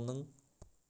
оның